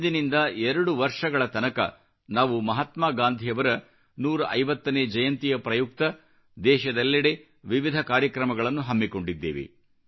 ಇಂದಿನಿಂದ 2 ವರ್ಷಗಳ ತನಕ ನಾವು ಮಹಾತ್ಮ ಗಾಂಧಿಯವರ 150ನೇ ಜಯಂತಿಯ ಪ್ರಯುಕ್ತ ದೇಶದೆಲ್ಲೆಡೆ ವಿವಿಧ ಕಾರ್ಯಕ್ರಮಗಳನ್ನು ಹಮ್ಮಿಕೊಂಡಿದ್ದೇವೆ